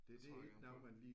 Det tror jeg gerne på